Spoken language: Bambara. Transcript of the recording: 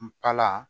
Nkala